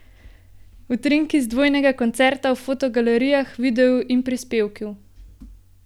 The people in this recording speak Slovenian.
Utrinki z dvojnega koncerta v fotogalerijah, videu in prispevku!